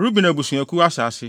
Ruben Abusuakuw Asase